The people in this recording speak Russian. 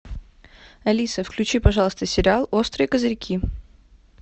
алиса включи пожалуйста сериал острые козырьки